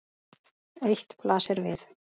Eitt blasir við.